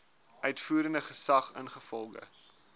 uitvoerende gesag ingevolge